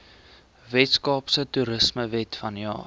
weskaapse toerismewet vanjaar